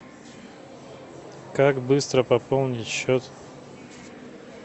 как быстро пополнить счет